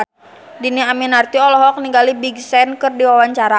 Dhini Aminarti olohok ningali Big Sean keur diwawancara